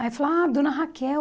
Aí falaram, ah, dona Raquel.